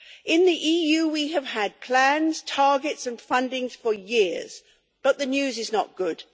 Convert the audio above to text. In the EU we have had planned targets and funding for years, but the news is not good.